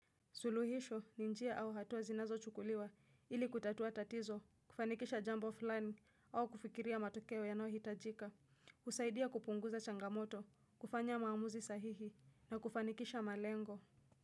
Suluhisho ni njia au hatua zinazochukuliwa ili kutatua tatizo, kufanikisha jambo fulani au kufikiria matokeo yanayohitajika, usaidia kupunguza changamoto, kufanya maamuzi sahihi na kufanikisha malengo.